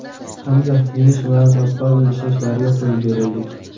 Hamda yeng shimarib astoydil ishlashlariga qo‘yib beraylik.